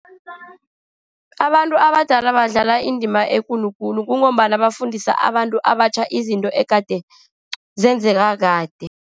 Abantu abadala badlala indima ekulu khulu, kungombana bafundisa abantu abatjha izinto egade zenzeka kade.